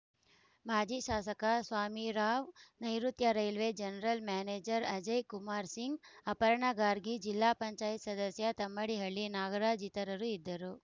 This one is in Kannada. ಮಾಜಿ ಶಾಸಕ Swamirao ನೈಋುತ್ಯ railway general manager Ajay Kumar Singh Aparna Gargi ಜಿಲ್ಲಾ ಪಂಚಾಯತ್ ಸದಸ್ಯ ತಮ್ಮಡಿಹಳ್ಳಿ ನಾಗರಾಜ್‌ ಇತರರು ಇದ್ದರು